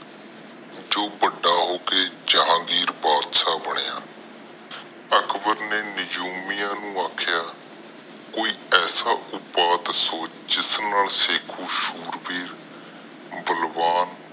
ਜੋ ਵੱਡਾ ਹੋ ਕੇ ਜਹਾਂਗੀਰ ਬਾਦਸ਼ਾਹ ਬਣਿਆ। ਅਕਬਰ ਨੇ ਨਿਜੂਮੀਆਂ ਨੂੰ ਅਖੜੀਆਂ ਕੋਈ ਐਸਾ ਉਪਾਏ ਦਸੋ ਜਿਸ ਨਾਲ ਸ਼ੇਖੂ ਸੂਰਵੀਰ ਬਲਵਾਨ